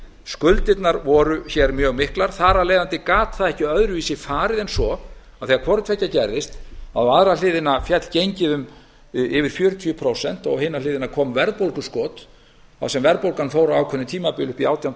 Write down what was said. skuldirnar voru hér mjög miklar þar af leiðandi gat það ekki öðruvísi farið en svo að þegar hvort tveggja gerðist á aðra hliðina féll gengið um yfir fjörutíu prósent og á hina hliðina kom verðbólguskot þar sem verðbólgan fór á ákveðnu tímabili upp í átján til